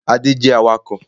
Ade is a driver